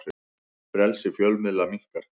Frelsi fjölmiðla minnkar